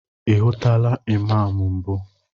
Ị hụtụla Imam mbụ?